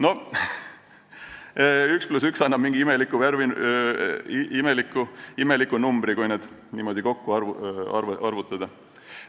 " No 1 + 1 annab mingi imeliku numbri, kui see kõik niimoodi kokku arvutada.